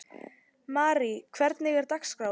Marí, hvernig er dagskráin?